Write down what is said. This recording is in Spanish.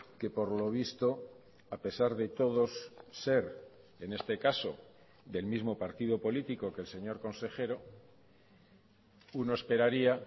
que por lo visto a pesar de todos ser en este caso del mismo partido político que el señor consejero uno esperaría